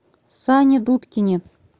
сане дудкине